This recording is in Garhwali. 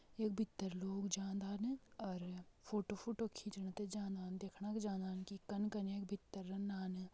यख भीतर लोग जादान और फोटो फोटो खींचण ते जादान देखणा के जादान कि कन कनै यख भीतर रनदान।